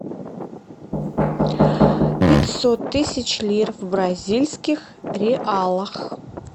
пятьсот тысяч лир в бразильских реалах